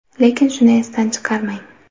Lekin shuni esdan chiqarmang.